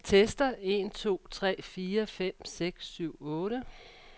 Tester en to tre fire fem seks syv otte.